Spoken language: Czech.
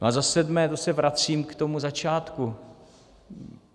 No a za sedmé, to se vracím k tomu začátku.